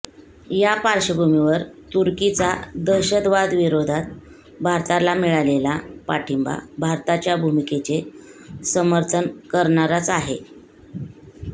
या पार्श्वभूमीवर तुर्कीचा दहशतवादविरोधात भारताला मिळालेला पाठिंबा भारताच्या भूमिकेचे सर्मथन करणाराच आहे